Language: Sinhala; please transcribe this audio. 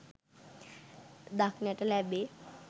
දක්නට ලැබේ